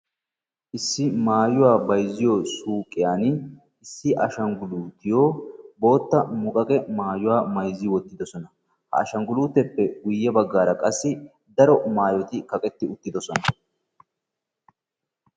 Issi maayuwa bayzziyo suyqiyan issi ashanggiluutiyo bootta moqaqe maayuwa mayzzi wottidosona. Ha ashanggiluuteeppe guyye baggaara qassi daro maayoti kaqetti uttidosona.